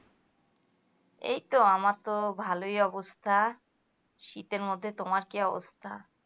এইতো আমার ভালোই অবস্থা তো তোমার শীতের মধ্যে তোমার কি অবস্থা?